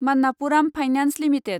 Manappuram finance limited